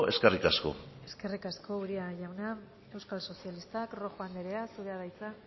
eskerrik asko eskerrik asko uria jauna euskal sozialistak rojo anderea zurea da hitza